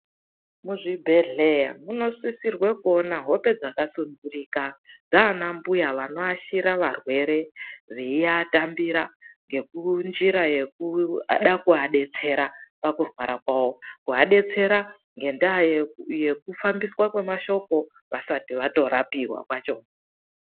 Muzvibhedhlera munosisirwe kuone hope dzakasunturika dzaana mbuya vanoashira varwere veiatambira ngenjira yekuda kuadetsera pakurwara kwawo, kuadetsera ngendaa yekufambiswa kwemashoko vasati vatorapiwa kwacho.